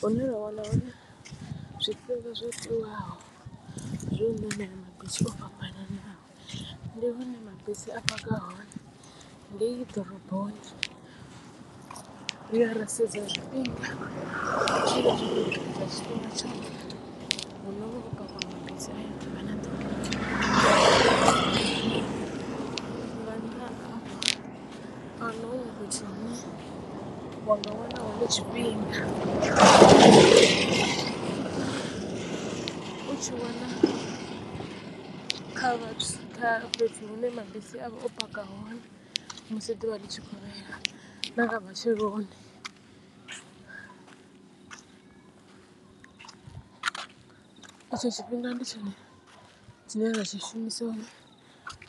Hune ra wana hone zwifhinga zwo tiwaho zwo ṋamela mabisi o fhambananaho ndi hune mabisi a paka hone ngei ḓoroboni riya ra sedza zwifhinga ha ḓuvha na ḓuvha ahuna huṅwe fhethu hune wanga wana hone tshifhinga. U tshi wana kha vhathu kha fhethu hune mabisi a vha o paka hone musi ḓuvha ḽi tshikovhela na nga matsheloni. I tsho tshifhinga ndi tshone tshine nda tshi shumisa uri